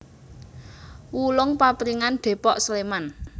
Wulung Papringan Depok Sleman